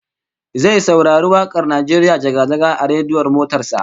Zai saurari wak'ar "Najeriya jaga-jaga" a rediyon motar sa